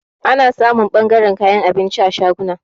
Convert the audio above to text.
Ana samun ɓangaran kayan abinci a shaguna.